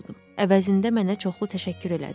Əvəzində mənə çoxlu təşəkkür elədi.